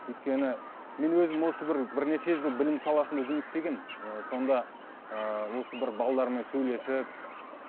өйткені мен өзім осы бір бірнеше жыл білім саласында жұмыс істегенмін ы сонда ыыы осы бір сөйлесіп